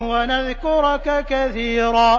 وَنَذْكُرَكَ كَثِيرًا